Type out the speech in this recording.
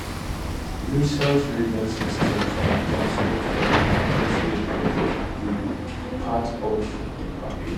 missiles radar systems and transport aircraft also reportedly dey part of di package